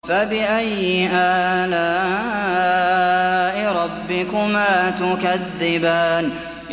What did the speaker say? فَبِأَيِّ آلَاءِ رَبِّكُمَا تُكَذِّبَانِ